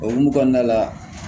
O hokumu kɔnɔna la